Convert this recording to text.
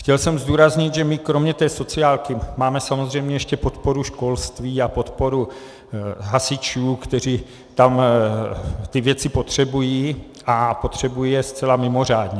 Chtěl jsem zdůraznit, že my kromě té sociálky máme samozřejmě ještě podporu školství a podporu hasičů, kteří tam ty věci potřebují, a potřebují je zcela mimořádně.